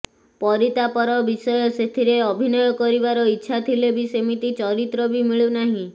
ପରିତାପର ବିଷୟ ସେଥିରେ ଅଭିନୟ କରିବାର ଇଚ୍ଛା ଥିଲେ ବି ସେମିତି ଚରିତ୍ର ବି ମିଳୁ ନାହିଁ